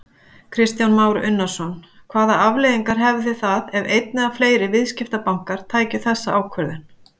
Kristján Már Unnarsson: Hvaða afleiðingar hefðu það ef einn eða fleiri viðskiptabankar tækju þessa ákvörðun?